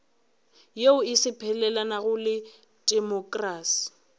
yeo e sepelelanago le temokrasi